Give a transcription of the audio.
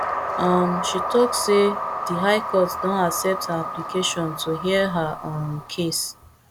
um she tok say di high court don accept her application to hear her um case